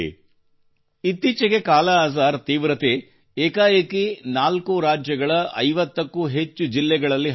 ಇತ್ತೀಚೆಗೆ ಕಾಲಾಅಜಾರ್ ತೀವ್ರತೆ ಏಕಾಏಕಿ 4 ರಾಜ್ಯಗಳ 50 ಕ್ಕೂ ಹೆಚ್ಚು ಜಿಲ್ಲೆಗಳಲ್ಲಿ ಹರಡಿತ್ತು